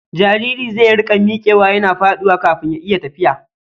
Jariri zai riƙa miƙewa yana faɗuwa kafin ya iya tafiya.